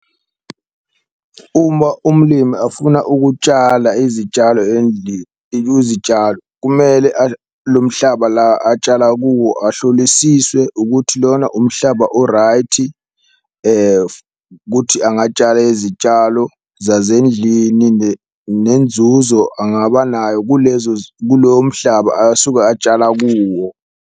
Uma umlimi afuna ukutshala izitshalo izitshalo kumele lo mhlaba la atshala kuwo, ahlolisiswe ukuthi lona umhlaba o-right kuthi angatshala izitshalo zazendlini, nenzuzo angaba nayo kulezo kulowo mhlaba asuke atshala kuwo.